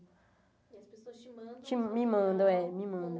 E as pessoas te mandam Te me manda mé me mandam